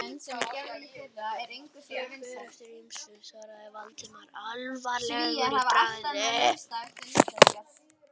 Það fer eftir ýmsu- svaraði Valdimar alvarlegur í bragði.